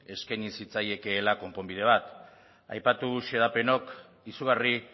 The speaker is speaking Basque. eskaini zitzaiekeela konponbide bat aipatu xedapenok izugarri